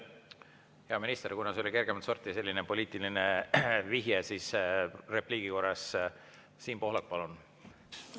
Hea minister, kuna see oli selline kergemat sorti poliitiline vihje, siis repliigi korras, Siim Pohlak, palun!